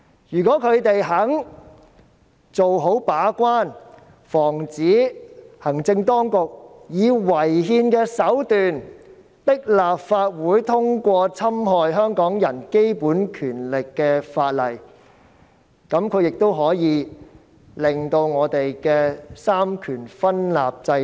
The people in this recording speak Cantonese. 如果他們肯做好把關，防止行政當局以違憲手段迫使立法會通過侵害香港人基本權利的法案，就可以鞏固香港三權分立的制度。